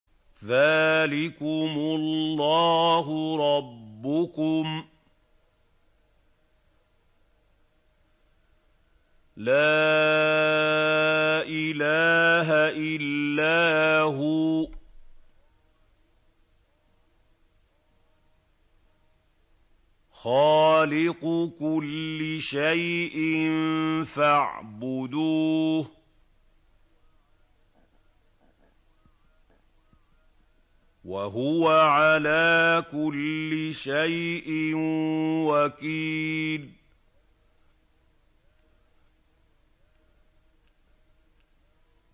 ذَٰلِكُمُ اللَّهُ رَبُّكُمْ ۖ لَا إِلَٰهَ إِلَّا هُوَ ۖ خَالِقُ كُلِّ شَيْءٍ فَاعْبُدُوهُ ۚ وَهُوَ عَلَىٰ كُلِّ شَيْءٍ وَكِيلٌ